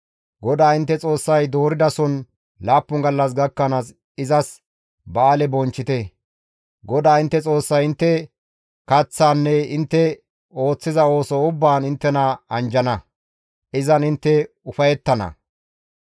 GODAA intte Xoossay dooridason laappun gallas gakkanaas izas ba7aale bonchchite; GODAA intte Xoossay intte kaththaanne intte ooththiza ooso ubbaan inttena anjjana; izan intte ufayettana.